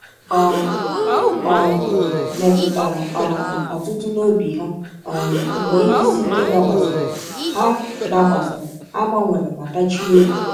Ọ um metụtara um Ọtụtụ n’obi ha um mgbe ihe isi ike dakwasịrị; ha dakwasịrị; ha gbanwere ma tachie obi.